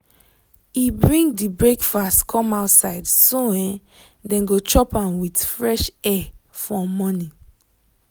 e bring the breakfast come outside so um dem go chop am with fresh air for morning.